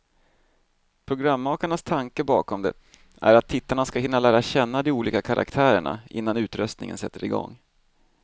Programmakarnas tanke bakom det är att tittarna ska hinna lära känna de olika karaktärerna, innan utröstningen sätter igång.